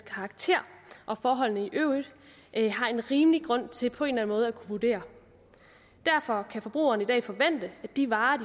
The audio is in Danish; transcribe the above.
karakter og forholdene i øvrigt har en rimelig grund til på en eller anden måde at kunne vurdere derfor kan forbrugerne i dag forvente at de varer